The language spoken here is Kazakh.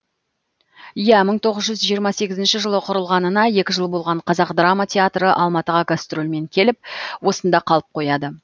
иә мың тоғыз жүз жиырма сегізінші жылы құрылғанына екі жыл болған қазақ драма театры алматыға гастрольмен келіп осында қалып қояды